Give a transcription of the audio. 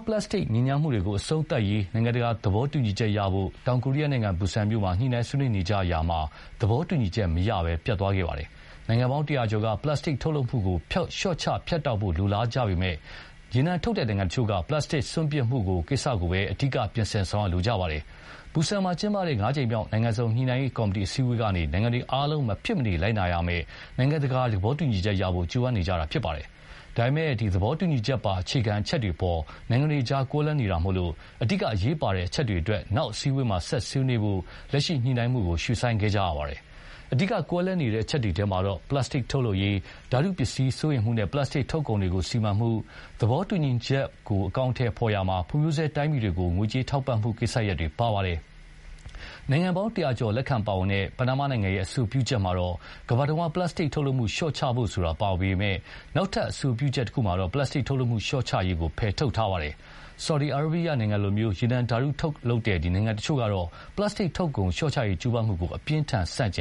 ပလပ်စတစ်ညစ်ညမ်းမှုတွေကို အဆုံးသတ်ရေး နိုင်ငံတကာသဘောတူညီချက်ရဖို့ တောင်ကိုရီးယားနိုင်ငံ၊ ဘူဆန်မြို့မှာ ညှိုနှိုင်းဆွေးနွေးနေကြရာမှာ၊ သဘောတူညီချက်မရပဲ ပျက်သွားခဲ့ပါတယ်။ နိုင်ငံပေါင်း တရာကျော်က ပလပ်စတစ်ထုတ်လုပ်မှုကို လျှော့ချဖြတ်တောက်ဖို့ လိုလားပေမယ့် ရေနံထုတ်နိုင်ငံတချို့က ပလပ်စတစ်စွန့်ပစ်မှုကိစ္စကိုသာ ပြင်ဆင်ဆောင်ရွက်လိုကြပါတယ်။ ဘူဆန်မြို့မှာ ကျင်းပနေတဲ့ ငါးကြိမ်မြောက် နိုင်ငံစုံ ညှိုနှိုင်းရေးကော်မတီ အစည်းအဝေးကနေ နိုင်ငံတွေအားလုံး မဖြစ်မနေလိုက်နာရမယ့် နိုင်ငံတကာသဘောတူညီချက်ရဖို့ ကြိုးပမ်းနေတာပါ။ ဒါပေမယ့်လည်း သဘောတူညီချက်ပါ အခြေခံတွေအပေါ်မှာ နိုင်ငံတွေအကြား ကွဲလွဲနေတာမို့၊ အဓိက အရေးပါတဲ့ အချက်တွေအတွက် နောက်အစည်းအဝေးမှာ ဆက်ဆွေးနွေးဖို့၊ လက်ရှိညှိုနှိုင်းမှုကို ရွေ့ဆိုင်းခဲ့ကြပါတယ်။ အဓိက ကွဲလွဲနေတဲ့ အချက်တွေထဲမှာတော့ ပလပ်စတစ်ထုတ်ရေး၊ ဓါတုပစ္စည်းဆိုင်ရာ စိုးရိမ်မှုနဲ့ ပလပ်စတစ်ထုတ်ကုန်တွေကို စီမံမှု၊ သဘောတူညီချက်မှုကို အကောင်အထည်ဖော်ရာမှာ ဖွံဖြိုးဆဲတိုင်းပြည်တွေကို ငွေကြေးထောက်ပံ့မှု ကိစ္စရပ်တွေ ပါဝင်ပါတယ်။ နိုင်ငံပေါင်း တရာကျော် လက်ခံပါဝင်တဲ့ ပနားမားနိုင်ငံရဲ့ အဆိုပြုချက်မှာတော့ ကမ္ဘာ့တဝှမ်း ပလပ်စတစ်ထုတ်လုပ်မှု လျှော့ချဖို့ဆိုတာ ပါဝင်ပေမယ့်၊ နောက်ထပ် အဆိုပြုချက်မှာတော့ ပလပ်စတစ်ထုတ်လုပ်မှု လျှော့ချရေးကို ဖယ်ထုတ်ထားပါတယ်။ ဆော်ဒီအာရေဗီးယားနိုင်ငံလို ရေနံဓါတုထုတ်လုပ်တဲ့ နိုင်ငံတချို့ကတော့ ပလပ်စတစ်ထုတ်ကုန်လျှော့ချရေးကြိုးပမ်းမှုကို အပြင်းအထန်ဆန့်ကျ